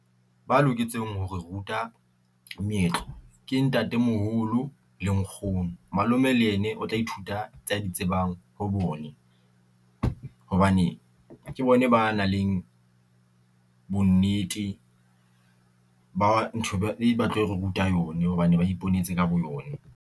Ba loketseng hore ruta meetlo ke ntatemoholo le nkgono, malome le ene o tla e thuta tsa ditsebang ho bone, hobane ke bone ba nang leng bonnete, ba ntho e ba tlao ruta yone hobane ba iponetse ka boyone.